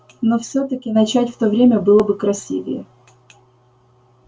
но всё-таки начать в то время было бы красивее